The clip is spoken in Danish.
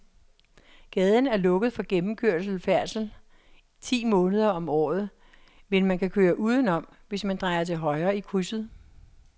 Gaden er lukket for gennemgående færdsel ti måneder om året, men man kan køre udenom, hvis man drejer til højre i krydset.